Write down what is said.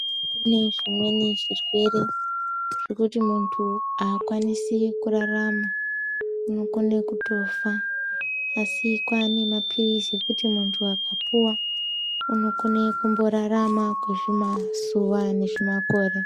Kune zvimweni zvirwere zvekuti muntu aakwanisi kurarama unokone kutofa asi kwaane mapirizi ekuti muntu akapiwa unokone kumborarama kwezvimazuwa nezvimakore.